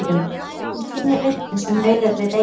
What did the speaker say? Hún skynjar vindinn sem nauðar við eyjuna.